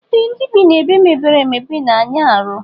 Ee ndi bi na ebe mepere emepe na aya arụ.